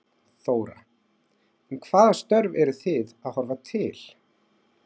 Þóra: En hvaða störf eru þið að horfa til?